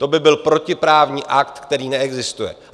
To by byl protiprávní akt, který neexistuje.